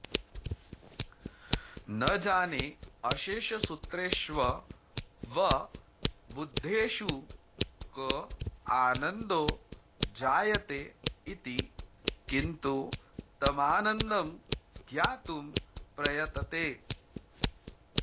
न जानेऽशेषसूत्रेष्ववबुद्धेषु क आनन्दो जायते इति किन्तु तमानन्दं ज्ञातुं प्रयते